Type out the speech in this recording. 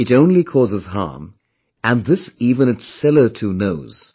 It only causes harm and this even its seller too knows